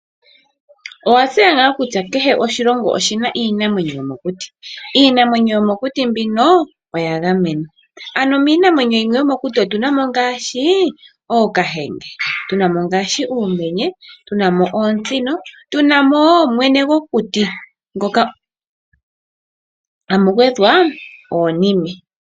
Owatseya nga kutya kehe oshilongo oshina iinamwenyo yomokuti? Iinamwenyo yomokuti mbino oya gamenwa. Ano miinamwenyo mbino yomokuti otuna mo ooKahenge, uumenye, oontsino, mwene gwokuti noonime.